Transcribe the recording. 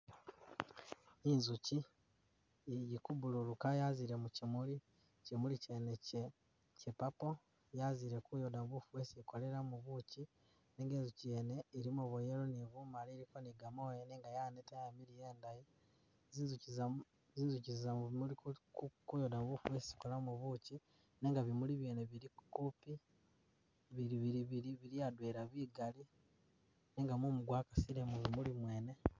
Inzuki ili ku bululuka yaziile mu kimuli, kimuli kyene kya purple, yazile kuyooda bufu bwesi ikolelamu buki nenga inzuki yene ilimo bwa yellow ilimo ni bumali iliko ni gamooya nenga yaneta, yamiliya, indayi. Zinzuki zama mu zinzuki zama mu bimuli kuyooda bufu bwesi zikolamu buki nenga bimuli byene bili kupi, bili bili adwela bigali nenga mumu gwakasile ku bimuli mweene.